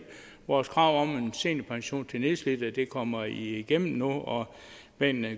vores krav om en seniorpension til nedslidte kommer igennem nu og med en